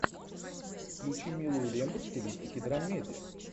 включи милую ленту в стилистике драмедия